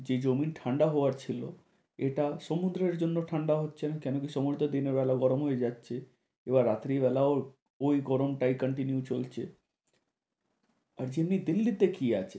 যে জমি ঠান্ডা হওয়ার ছিল, এটা সমুদ্রের জন্য ঠান্ডা হচ্ছে না কেন কি সমুদ্র দিনের বেলা গরম হয়ে যাচ্ছে এবার রাত্রি বেলাও ওই গরমটাই continue চলছে। আর যদি দিল্লি তে কি আছে